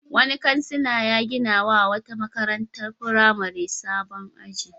Wani kansila ya ginawa wata makarantar firamare sabon aji.